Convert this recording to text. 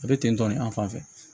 A bɛ ten tɔ nin an fan fɛ